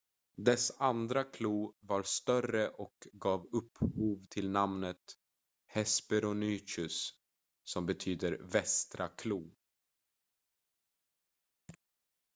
"dess andra klo var större och gav upphov till namnet hesperonychus som betyder "västra klo.""